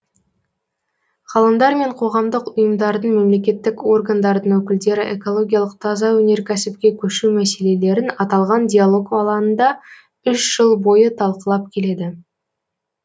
ғалымдар мен қоғамдық ұйымдардың мемлекеттік органдардың өкілдері экологиялық таза өнеркәсіпке көшу мәселелерін аталған диалог алаңында үш жыл бойы талқылап келеді